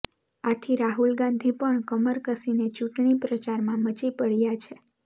આથી રાહુલ ગાંધી પણ કમર કસીને ચૂંટણી પ્રચારમાં મચી પડ્યા છે